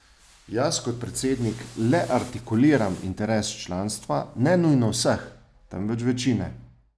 Jaz kot predsednik le artikuliram interes članstva, ne nujno vseh, temveč večine.